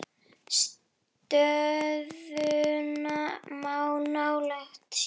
Stöðuna má nálgast hér.